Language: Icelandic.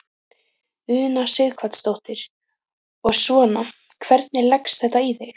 Una Sighvatsdóttir: Og svona, hvernig leggst þetta í þig?